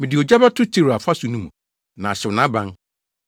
Mede ogya bɛto Tiro afasu no mu, na ahyew nʼaban.”